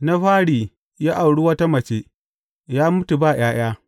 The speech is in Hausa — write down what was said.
Na fari ya auri wata mace, ya mutu ba ’ya’ya.